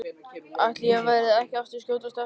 Ætli ég verði ekki að skjótast austur aftur.